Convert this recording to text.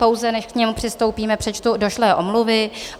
Pouze než k němu přistoupíme, přečtu došlé omluvy.